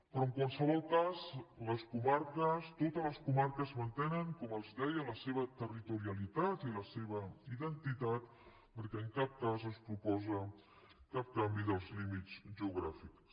però en qualsevol cas totes les comarques mantenen com els deia la seva territorialitat i la seva identitat perquè en cap cas es proposa cap canvi dels límits geo gràfics